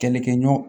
Kɛlɛkɛɲɔgɔn